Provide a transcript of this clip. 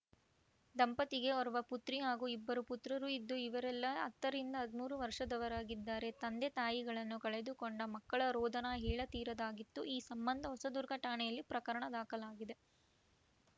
ದಂಪತಿಗೆ ಓರ್ವ ಪುತ್ರಿ ಹಾಗೂ ಇಬ್ಬರು ಪುತ್ರರು ಇದ್ದು ಇವರೆಲ್ಲಾ ಹತ್ತರಿಂದ ಹದಿಮೂರು ವರ್ಷದವರಾಗಿದ್ದಾರೆ ತಂದೆ ತಾಯಿಗಳನ್ನು ಕಳೆದುಕೊಂಡ ಮಕ್ಕಳ ರೋದನ ಹೇಳ ತೀರದಾಗಿತ್ತು ಈ ಸಂಬಂಧ ಹೊಸದುರ್ಗ ಠಾಣೆಯಲ್ಲಿ ಪ್ರಕರಣ ದಾಖಲಾಗಿದೆ